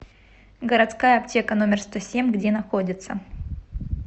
городская аптека номер сто семь где находится